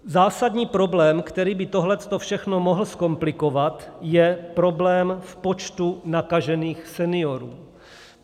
Zásadní problém, který by tohle všechno mohl zkomplikovat, je problém v počtu nakažených seniorů.